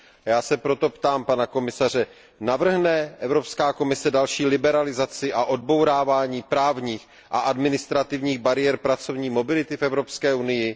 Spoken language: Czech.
Já se proto ptám pana komisaře Navrhne Evropská komise další liberalizaci a odbourávání právních a administrativních bariér pracovní mobility v Evropské unii?